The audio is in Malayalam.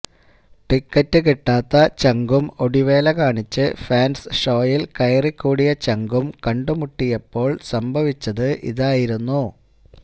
ടിക്കറ്റ് കിട്ടാത്ത ചങ്കും ഒടിവേല കാണിച്ച് ഫാന്സ് ഷോയില് കയറിക്കൂടിയ ചങ്കും കണ്ടുമുട്ടിയപ്പോള് സംഭവിച്ചത് ഇതായിരുന്നു